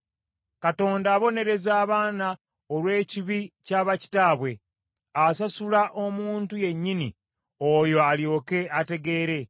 Katonda abonereza abaana olw’ekibi kya bakitaabwe. Asasule omuntu yennyini oyo alyoke ategeere!